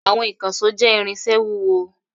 Àwọn ìkànṣó jẹ́ irinṣẹ́ wúwo.